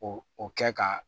O o kɛ ka